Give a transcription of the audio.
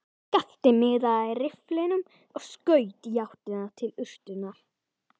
Skapti miðaði rifflinum og skaut í áttina til urtunnar.